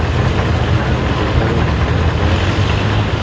और साइकिल से टंगा हुआ दिखा हुआ दिखाई पैर से रोक रहा है।